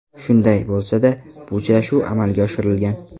Shunday bo‘lsa-da, bu uchrashuv amalga oshirilgan.